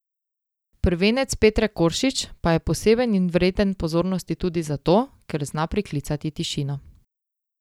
Prvenec Petre Koršič pa je poseben in vreden pozornosti tudi zato, ker zna priklicati tišino.